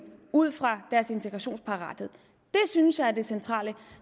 ud fra deres integrationsparathed det synes jeg er det centrale